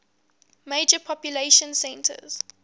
major population centers